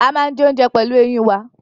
We chew food with our teeth